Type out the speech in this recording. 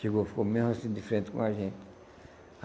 Chegou, ficou mesmo assim de frente com a gente.